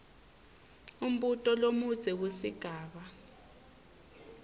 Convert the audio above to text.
umbuto lomudze kusigaba